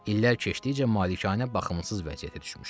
İllər keçdikcə malikanə baxımsız vəziyyətə düşmüşdü.